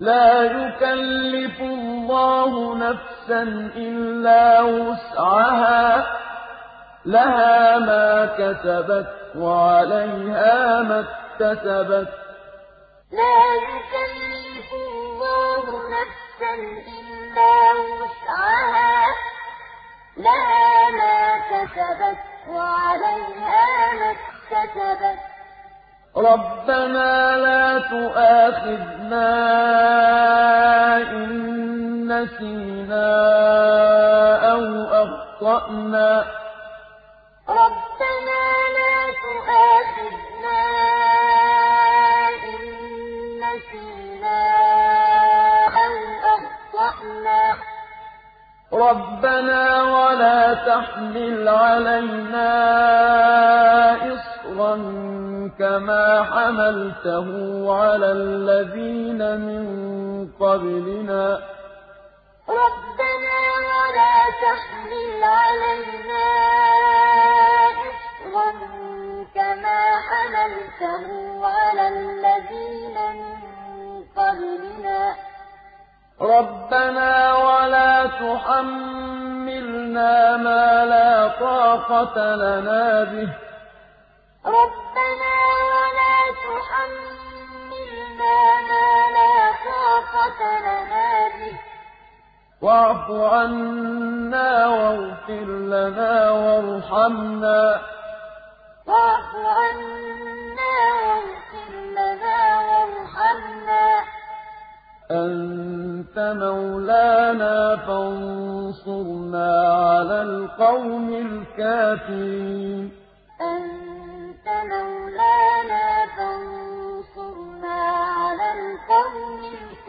لَا يُكَلِّفُ اللَّهُ نَفْسًا إِلَّا وُسْعَهَا ۚ لَهَا مَا كَسَبَتْ وَعَلَيْهَا مَا اكْتَسَبَتْ ۗ رَبَّنَا لَا تُؤَاخِذْنَا إِن نَّسِينَا أَوْ أَخْطَأْنَا ۚ رَبَّنَا وَلَا تَحْمِلْ عَلَيْنَا إِصْرًا كَمَا حَمَلْتَهُ عَلَى الَّذِينَ مِن قَبْلِنَا ۚ رَبَّنَا وَلَا تُحَمِّلْنَا مَا لَا طَاقَةَ لَنَا بِهِ ۖ وَاعْفُ عَنَّا وَاغْفِرْ لَنَا وَارْحَمْنَا ۚ أَنتَ مَوْلَانَا فَانصُرْنَا عَلَى الْقَوْمِ الْكَافِرِينَ لَا يُكَلِّفُ اللَّهُ نَفْسًا إِلَّا وُسْعَهَا ۚ لَهَا مَا كَسَبَتْ وَعَلَيْهَا مَا اكْتَسَبَتْ ۗ رَبَّنَا لَا تُؤَاخِذْنَا إِن نَّسِينَا أَوْ أَخْطَأْنَا ۚ رَبَّنَا وَلَا تَحْمِلْ عَلَيْنَا إِصْرًا كَمَا حَمَلْتَهُ عَلَى الَّذِينَ مِن قَبْلِنَا ۚ رَبَّنَا وَلَا تُحَمِّلْنَا مَا لَا طَاقَةَ لَنَا بِهِ ۖ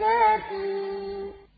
وَاعْفُ عَنَّا وَاغْفِرْ لَنَا وَارْحَمْنَا ۚ أَنتَ مَوْلَانَا فَانصُرْنَا عَلَى الْقَوْمِ الْكَافِرِينَ